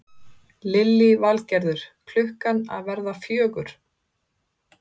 Lillý Valgerður: Klukkan að verða fjögur?